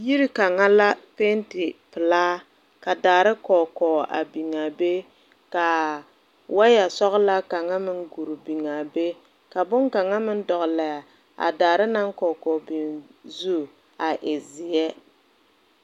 Yiri kanga la penti pelaa ka daare koɔ koɔ a beng a bɛ ka waayɛ sɔglaa kanga meng guru beng a be ka bonkanga meng dɔgle a daare nang kɔɔ kɔɔ beng zu a e zeɛ.